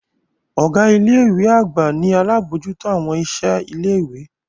Ọga ile-iwe agba ni alabojuto awọn iṣẹ ile-iwe.